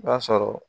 I b'a sɔrɔ